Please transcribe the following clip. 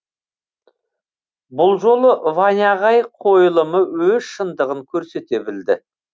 бұл жолы ваня ағай қойылымы өз шындығын көрсете білді